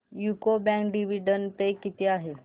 UCO bank dividend pay किती आहे